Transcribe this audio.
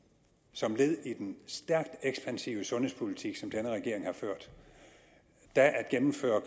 som led i den stærkt ekspansive sundhedspolitik som denne regering har ført da at gennemføre